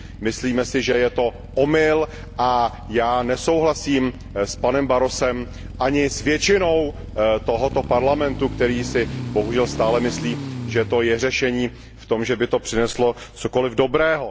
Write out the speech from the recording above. Myslíme si, že je to omyl, a já nesouhlasím s panem Barrosem ani s většinou tohoto Parlamentu, který si bohužel stále myslí, že to je řešení v tom, že by to přineslo něco dobrého.